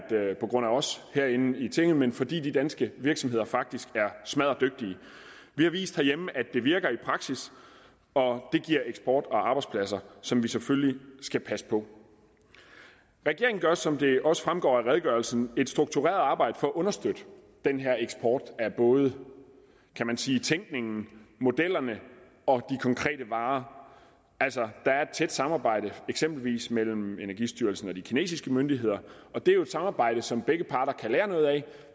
på grund af os herinde i tinget men fordi de danske virksomheder faktisk er smadderdygtige vi har vist herhjemme at det virker i praksis og det giver eksport og arbejdspladser som vi selvfølgelig skal passe på regeringen gør som det også fremgår af redegørelsen et struktureret arbejde for at understøtte den her eksport af både kan man sige tænkningen modellerne og de konkrete varer altså der er et tæt samarbejde eksempelvis mellem energistyrelsen og de kinesiske myndigheder og det er jo et samarbejde som begge parter kan lære noget af